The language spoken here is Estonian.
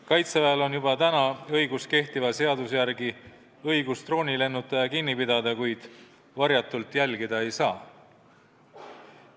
Kaitseväel on juba praegu kehtiva seaduse järgi õigus droonilennutaja kinni pidada, kuid varjatult jälgida teda ei saa.